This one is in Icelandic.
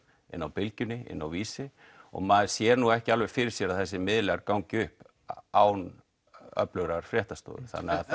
Bylgjunni Vísi og maður sér nú ekki alveg fyrir sér að þessir miðlar gangi upp án fréttastofu